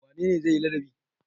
Wane ne zai yi ladabi?